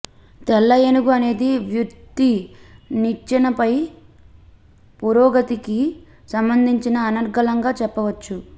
తెల్ల ఏనుగు అనేది వృత్తి నిచ్చెనపై పురోగతికి సంబంధించిన అనర్గళంగా చెప్పవచ్చు